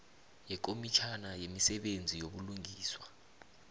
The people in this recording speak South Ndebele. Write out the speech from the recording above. nekomitjhana yemisebenzi yobulungiswa